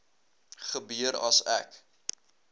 gebeur as ek